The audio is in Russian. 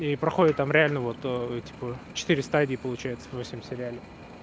и проходит он реально вот эти по четыре стадии получается восемь в сериале